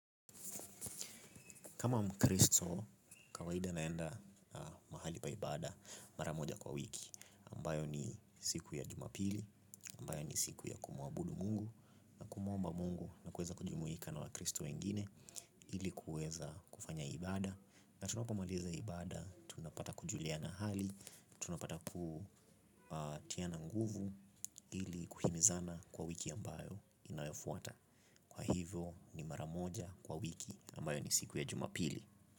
Kama mkristo kawaida naenda mahali pa ibada mara moja kwa wiki ambayo ni siku ya jumapili ambayo ni siku ya kumwabudu Mungu na kumuomba Mungu na kuweza kujumuika na wakristo wengine ili kuweza kufanya ibada na tunapomaliza ibada tunapata kujuliana hali tunapata kutiana nguvu ili kuhimizana kwa wiki ambayo inayofuata kwa hivyo ni mara moja kwa wiki ambayo ni siku ya jumapili.